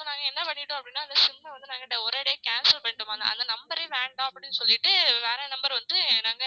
So நாங்க என்ன பண்ணிட்டோம் அப்டினா அந்த SIM அ வந்து நாங்க ஒரேயடியா cancel பண்ணிட்டோம் அந்த number ஏ வேண்டாம் அப்டின்னு சொல்லிட்டு வேற number வந்து நாங்க